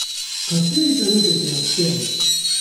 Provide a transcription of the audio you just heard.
Kateri trenutek je nad vsemi?